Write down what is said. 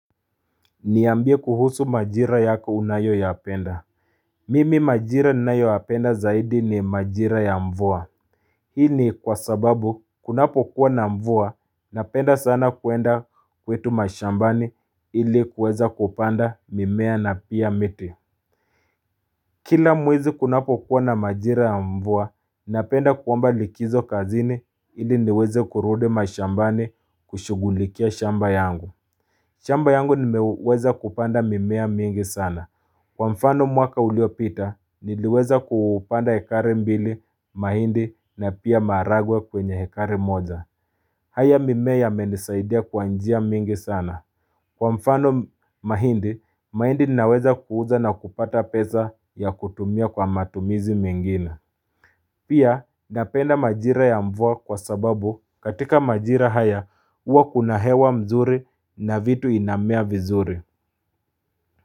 Niambie kuhusu majira yako unayoyaapenda Mimi majira ninayoapenda zaidi ni majira ya mvua Hii ni kwa sababu kunapokuwa na mvua napenda sana kuenda kwetu mashambani ili kuweza kupanda mimea na pia miti Kila mwezi kunapokuwa na majira ya mvua napenda kuomba likizo kazini ili niweze kurudi mashambani kushugulikia shamba yangu shamba yangu nimeweza kupanda mimea mingi sana. Kwa mfano mwaka uliopita, niliweza kupanda ekari mbili mahindi na pia maragwe kwenye hekari moja. Haya mimea yamenisaidia kwa njia mingi sana. Kwa mfano mahindi, mahindi naweza kuuza na kupata peza ya kutumia kwa matumizi mengina. Pia napenda majira ya mvua kwa sababu katika majira haya uwa kuna hewa mzuri na vitu inamea vizuri.